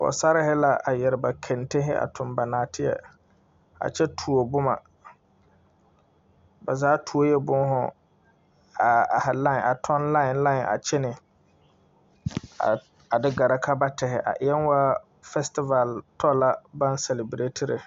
Pɔgsarihi la a yɛre ba kɛntehi a toŋ ba naateɛ a kyɛ tuo boma ba zaa tuoe buuhu a tɔŋ line line kyene a de gɛrɛ ka ba tehi a eɛ woo festival tɔ la baŋ sɛlebiretire.